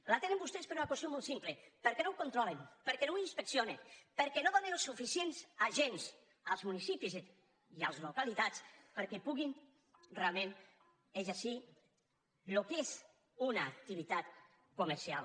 la tenen vostès per una qüestió molt simple perquè no ho controlen perquè no ho inspeccionen per què no donen els suficients agents als municipis i a les localitats perquè puguin realment exercir el que és una activitat comercial